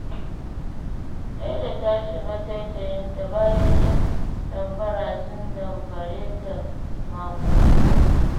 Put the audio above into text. Laila ta shiga taitayinta, bayan 'yan damfara sun damfare ta maƙudan kuɗi.